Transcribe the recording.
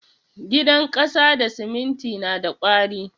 Gidan kasa da siminti na da ƙwari.